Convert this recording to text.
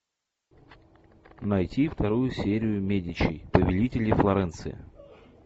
найти вторую серию медичи повелители флоренции